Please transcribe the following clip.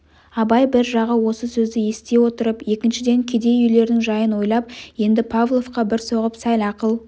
абай бір жағы осы сөзді ести отырып екіншіден кедей үйлерінің жайын ойлап енді павловқа бір соғып сәл ақыл